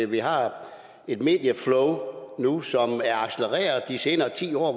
vi har et medieflow nu som er accelereret de seneste ti år